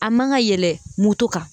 A man ka yɛlɛ moto kan